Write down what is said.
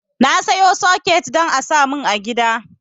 Na sayo soket don a samun a gida